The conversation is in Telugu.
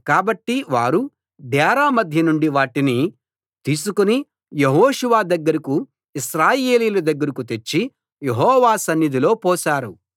కాబట్టి వారు డేరా మధ్య నుండి వాటిని తీసుకు యెహోషువ దగ్గరకూ ఇశ్రాయేలీయుల దగ్గరకూ తెచ్చి యెహోవా సన్నిధిలో పోశారు